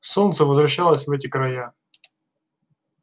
солнце возвращалось в эти края